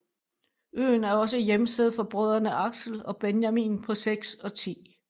Øen er også hjemsted for brødrene Axel og Benjamin på 6 og 10